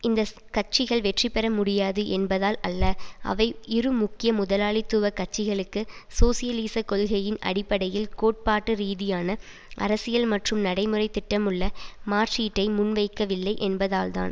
இந்த கட்சிகள் வெற்றி பெற முடியாது என்பதால் அல்ல அவை இரு முக்கிய முதலாளித்துவ கட்சிகளுக்கு சோசியலிச கொள்கையின் அடிப்படையில் கோட்பாட்டு ரீதியான அரசியல் மற்றும் நடைமுறை திட்டமுள்ள மாற்றீட்டை முன்வைக்கவில்லை என்பதால்தான்